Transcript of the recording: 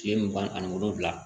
Kile mugan ni wolonwula